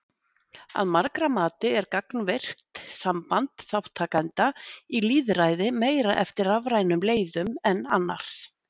Að margra mati er gagnvirkt samband þátttakenda í lýðræði meira eftir rafrænum leiðum en annars.